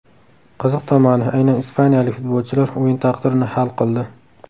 Qiziq tomoni, aynan ispaniyalik futbolchilar o‘yin taqdirini hal qildi.